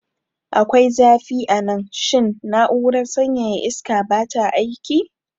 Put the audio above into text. Akwai zafi a nan. Shin na'urar sanyaya iska ba ta aiki?